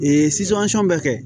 Ee bɛ kɛ